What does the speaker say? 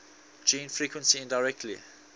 gene frequency indirectly